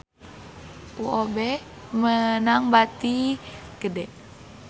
UOB meunang bati gede